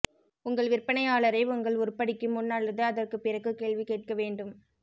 உங்கள் விற்பனையாளரை உங்கள் உருப்படிக்கு முன் அல்லது அதற்குப் பிறகு கேள்வி கேட்க வேண்டும்